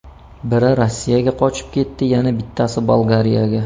Biri Rossiyaga qochib ketdi, yana bittasi Bolgariyaga.